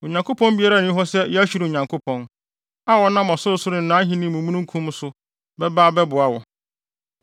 “Onyankopɔn biara nni hɔ sɛ Yeshurun Nyankopɔn; a ɔnam ɔsorosoro ne nʼahenni mu mununkum so ba bɛboa wo.